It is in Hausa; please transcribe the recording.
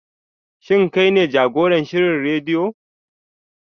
Shin kai ne jagoran shirin rediyo?